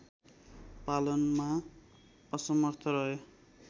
पालनमा असमर्थ रहे